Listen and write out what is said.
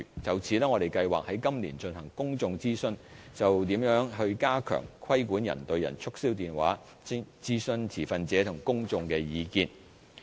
就此，我們計劃在今年進行公眾諮詢，就如何加強規管人對人促銷電話，徵詢持份者和公眾的意見。